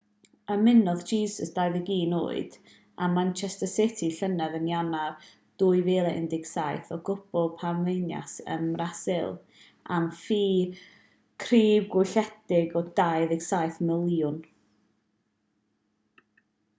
ymunodd jesus 21 oed â manchester city llynedd yn ionawr 2017 o glwb palmeiras ym mrasil am ffi crybwylledig o £27 miliwn